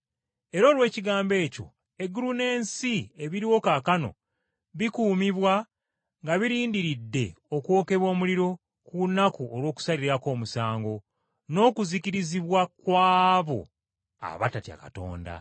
Era olw’ekigambo ekyo, eggulu n’ensi ebiriwo kaakano bikuumibwa nga birindiridde okwokebwa omuliro ku lunaku olw’okusalirako omusango, n’okuzikirizibwa kw’abo abatatya Katonda.